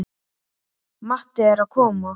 Matti er að koma!